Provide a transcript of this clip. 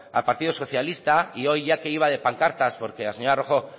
al partido socialista y ya que hoy iba de pancartas porque la señora rojo